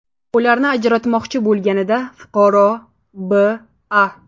ularni ajratmoqchi bo‘lganida fuqaro B.A.